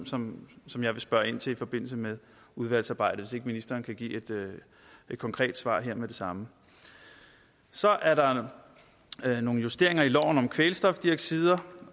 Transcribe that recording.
som som jeg vil spørge ind til i forbindelse med udvalgsarbejdet ikke ministeren kan give et konkret svar her med det samme så er der nogle justeringer i loven om kvælstofoxider